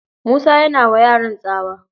Musa yana wa yaran tsawa